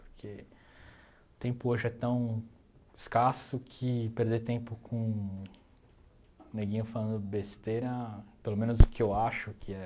Porque o tempo hoje é tão escasso que perder tempo com um neguinho falando besteira, pelo menos o que eu acho que é...